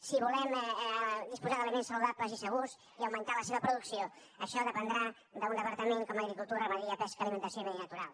si volem disposar d’aliments saludables i segurs i augmentar la seva producció això dependrà d’un departament com agricultura ramaderia pesca alimentació i medi natural